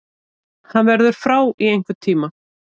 Hann verður frá í einhvern tíma.